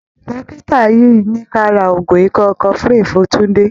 Dọ́kítà yìí ní ka ra oògùn ikọ́ cofflin fún Túńdé.